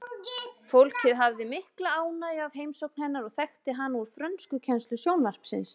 Fólkið hafði mikla ánægju af heimsókn hennar og þekkti hana úr frönskukennslu sjónvarpsins.